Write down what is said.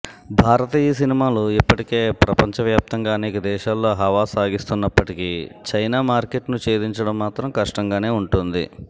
భారతీయ సినిమాలు ఇప్పటికే ప్రపంచవ్యాప్తంగా అనేక దేశాల్లో హవా సాగిస్తున్నప్పటికీ చైనా మార్కెట్ను ఛేదించడం మాత్రం కష్టంగానే ఉంటోంది